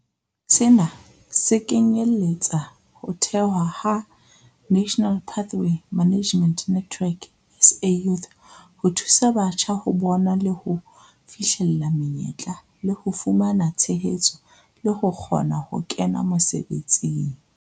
Sena se kenyeletsa ho thehwa ha National Pathway Management Network, SA Youth, ho thusa batjha ho bona le ho fihlella menyetla le ho fumana tshehetso le ho kgona ho kena mosebetsing.